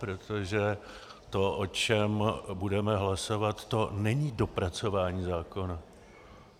Protože to, o čem budeme hlasovat, to není dopracování zákona.